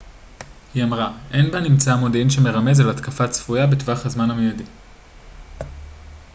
היא אמרה אין בנמצא מודיעין שמרמז על התקפה צפויה בטווח זמן מיידי